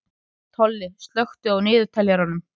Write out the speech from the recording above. Tolli, slökktu á niðurteljaranum.